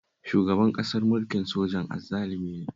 Shugaban ƙasar mukin sojan azzalumi ne